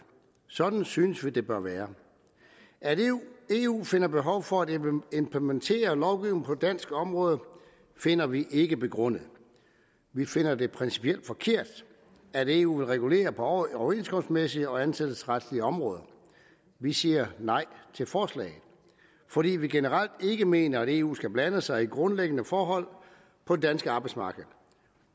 sådan synes vi at det bør være at eu finder behov for at implementere lovgivning på dansk område finder vi ikke begrundet vi finder det principielt forkert at eu vil regulere på overenskomstmæssige og ansættelsesretslige områder vi siger nej til forslaget fordi vi generelt ikke mener at eu skal blande sig i grundlæggende forhold på det danske arbejdsmarked